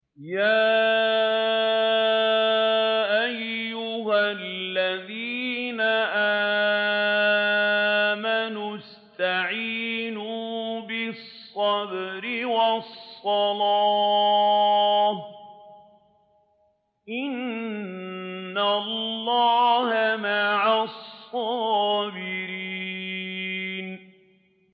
يَا أَيُّهَا الَّذِينَ آمَنُوا اسْتَعِينُوا بِالصَّبْرِ وَالصَّلَاةِ ۚ إِنَّ اللَّهَ مَعَ الصَّابِرِينَ